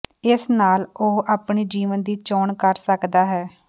ਇਸ ਨਾਲ ਉਹ ਆਪਣੀ ਜੀਵਨ ਦੀ ਚੋਣ ਕਰ ਸਕਦਾ ਹੈ